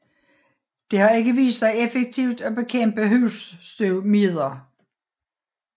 Det har ikke vist sig effektivt at bekæmpe husstøvmider